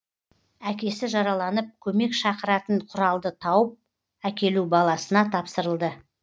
әкесі жараланып көмек шақыратын құралды тауып әкелу баласына тапсырылды